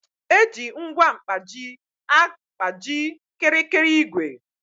Eji ngwa mkpaji agkpaji kịrịkịrị igwè